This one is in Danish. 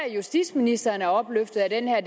at justitsministeren er opløftet af den her